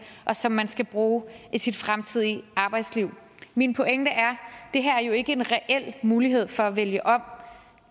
og som man skal bruge i sit fremtidige arbejdsliv min pointe er at det her jo ikke er en reel mulighed for at vælge om